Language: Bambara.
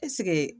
Ɛseke